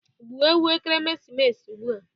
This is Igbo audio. Gbuo ewu ekeresimesi ugbua